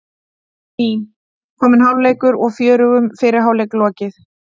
Mín: Kominn hálfleikur og fjörugum fyrri hálfleik lokið.